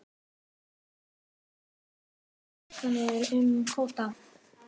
Skiptar skoðanir um kvóta